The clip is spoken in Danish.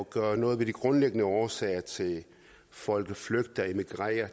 gøre noget ved de grundlæggende årsager til at folk flygter og immigrerer